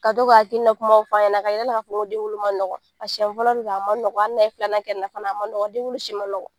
Ka to ka hakilina kumaw f'a ɲɛna ka yir'a la k'a fɔ ko den wolo ma nɔgɔ, a siyɛn fɔlɔ bɛ ka, a ma nɔgɔ, hali n'a ye filanan kɛ nin na fana a ma nɔgɔ den wolo ma nɔgɔ.